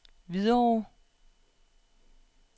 Hvidovre